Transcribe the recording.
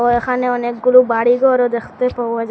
এখানে অনেকগুলু বাড়ি ঘরও দেখতে পাওয়া যা--